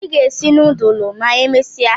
I ga esi nudulu ma emesia?